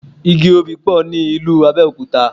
Igi Obì pọ̀ ní ìlú Abẹ́òkúta.